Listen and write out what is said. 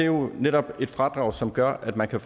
jo netop et fradrag som gør at man kan